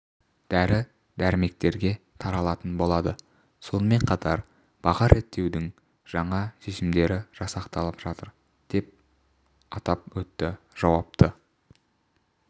дәрі-дәрмектерге таралатын болады сонымен қатар баға реттеудің жаңа шешімдері жасақталып жатыр деп атап өтті жауапты